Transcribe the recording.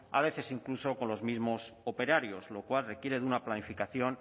a veces incluso con los mismos operarios lo cual requiere de una planificación